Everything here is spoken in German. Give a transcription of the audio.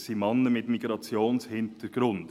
Es sind Männer mit Migrationshintergrund.